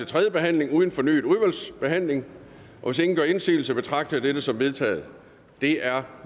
tredje behandling uden fornyet udvalgsbehandling hvis ingen gør indsigelse betragter jeg dette som vedtaget det er